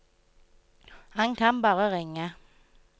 Han kan bare ringe.